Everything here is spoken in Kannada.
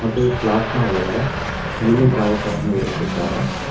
ಮತ್ತೆ ಕ್ಲಾಸ್ ನ ಒಳಗಡೆ ನೀಲಿ ದ್ರವಕವನ್ನು ಇರಿಸಿದ್ದಾರೆ.